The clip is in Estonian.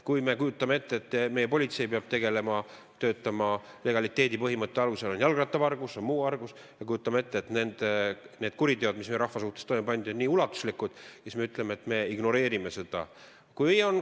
Kujutame ette, et meie politsei peab töötama legaliteedipõhimõtte alusel – on jalgrattavargus, on muu vargus –, ja kujutame ette, et need kuriteod, mis meie rahva suhtes toime pandi, on nii ulatuslikud, ning siis ütleme, et me ignoreerime neid.